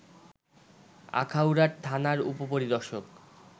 আখাউড়ার থানার উপপরিদর্শক